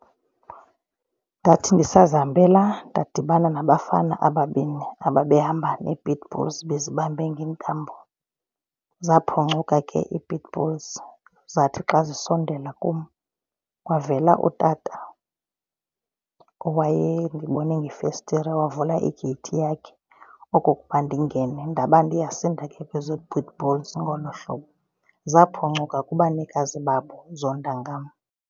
Ndathi ndisazihambela ndadibana nabafana ababini ababehamba nee-pit bulls bezibambe ngeentambo. Zaphucuka ke ii-pit bulls zathi xa zisondela kum kwavela utata owaye ndibone ngefestire wavula igeyithi yakhe okokuba ndingene. Ndaba ndiyasinda kwezoo pit bulls ngolo hlobo. Zaphucuka kubanikazi bazo zonda ngam.